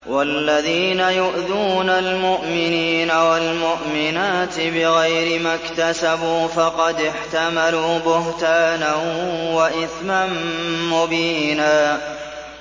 وَالَّذِينَ يُؤْذُونَ الْمُؤْمِنِينَ وَالْمُؤْمِنَاتِ بِغَيْرِ مَا اكْتَسَبُوا فَقَدِ احْتَمَلُوا بُهْتَانًا وَإِثْمًا مُّبِينًا